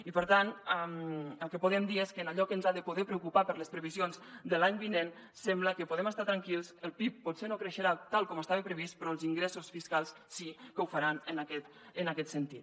i per tant el que podem dir és que allò que ens ha de poder preocupar per a les previsions de l’any vinent sembla que podem estar tranquils el pib potser no creixerà tal com estava previst però els ingressos fiscals sí que ho faran en aquest sentit